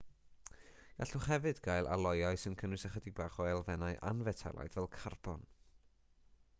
gallwch hefyd gael aloiau sy'n cynnwys ychydig bach o elfennau anfetelaidd fel carbon